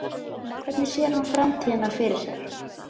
Hvernig sér hann framtíðina fyrir sér?